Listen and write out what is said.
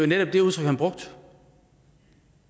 netop det udtryk han brugte